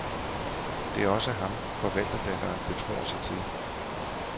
Det er også ham, forvalterdatteren betror sig til.